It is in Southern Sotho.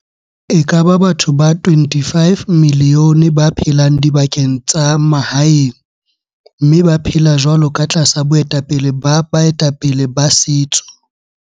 E ka ba batho ba 25 milione ba phelang dibakeng tsa ma haeng mme ba phela jwalo ka tlasa boetapele ba bae tapele ba setso.